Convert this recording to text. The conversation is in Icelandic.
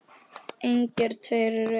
Engir tveir eru eins.